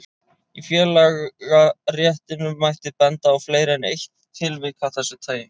Í félagaréttinum mætti benda á fleiri en eitt tilvik af þessu tagi.